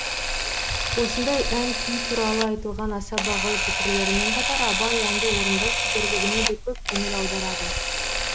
осындай ән күй туралы айтылған аса бағалы пікірлерімен қатар абай әнді орындау шеберлігіне де көп көңіл аударады